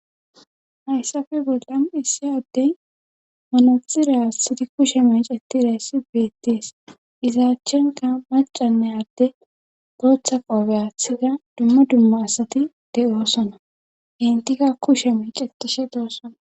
hayssafe bolla issi addey monoisira sidi kushe miic etireyssi beettees izaachchenka macanne adde gooththa qoobe athida dumma dumma asati de7oosona gintika kushe meic etishe doosona